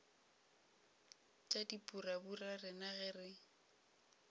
tša dipurabura rena ge re